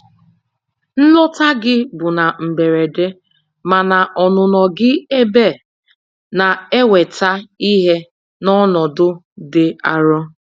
Nlọta gị bụ na mberede, mana ọnụnọ gị ebe na-eweta ihe n'ọnọdụ dị arụ.